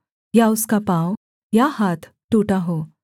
या उसका पाँव या हाथ टूटा हो